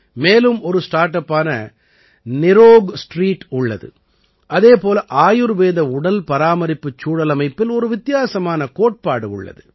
மேலும் ஒரு ஸ்டார்ட் அப்பான நிரோக்ஸ்ட்ரீட் உள்ளது அதே போல ஆயுர்வேத உடல்பராமரிப்புச் சூழலமைப்பில் ஒரு வித்தியாசமான கோட்பாடு உள்ளது